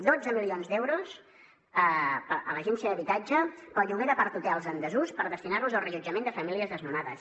dotze milions d’euros a l’agència d’habitatge per al lloguer d’aparthotels en desús per destinar los al reallotjament de famílies desnonades